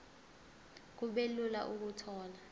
kube lula ukuthola